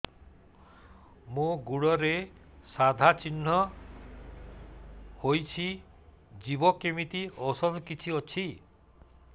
ମୋ ଗୁଡ଼ରେ ସାଧା ଚିହ୍ନ ହେଇଚି ଯିବ କେମିତି ଔଷଧ କିଛି ଅଛି